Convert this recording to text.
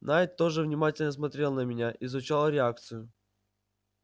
найд тоже внимательно смотрел на меня изучал реакцию